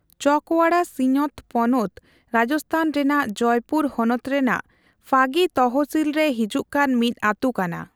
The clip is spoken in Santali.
ᱪᱚᱠᱣᱟᱲᱟ ᱥᱤᱧᱚᱛ ᱯᱚᱱᱚᱛ ᱨᱟᱡᱚᱥᱛᱷᱟᱱ ᱨᱮᱱᱟᱜ ᱡᱚᱭᱯᱩᱨ ᱦᱚᱱᱚᱛ ᱨᱮᱱᱟᱜ ᱯᱷᱟᱜᱤ ᱛᱚᱦᱥᱤᱞ ᱨᱮ ᱦᱤᱡᱩᱜ ᱠᱟᱱ ᱢᱤᱫ ᱟᱹᱛᱩ ᱠᱟᱱᱟ᱾